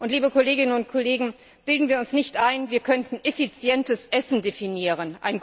Liebe Kolleginnen und Kollegen, bilden wir uns nicht ein, wir könnten effizientes Essen definieren.